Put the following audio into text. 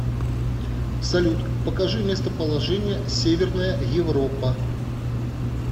салют покажи местоположение северная европа